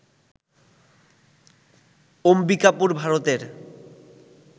অম্বিকাপুর, ভারতের